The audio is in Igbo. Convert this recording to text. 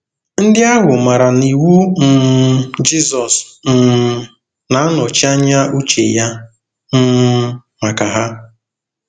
Ndị ahụ maara na iwu um Jizọs um na-anọchi anya uche ya um maka ha.